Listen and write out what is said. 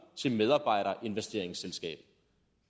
til medarbejderinvesteringsselskabet